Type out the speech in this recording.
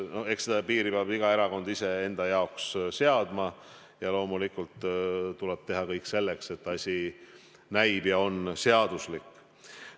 Eks selle piiri peab iga erakond ise enda jaoks seadma ja loomulikult tuleb teha kõik selleks, et asi näib ja on seaduslik.